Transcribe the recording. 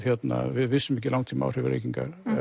við vissum ekki langtímaáhrif reykinga en